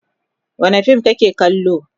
Wane fim kake kallo?